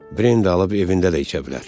Brendi alıb evində də içə bilər.